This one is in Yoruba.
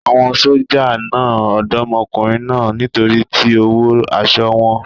Àwọn sójà na Ọ̀dọ́mọkùnrin náà nítorí tí ó wọ aṣọ wọn.